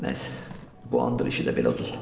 Nə isə, bu andır işi də belə uduzdum.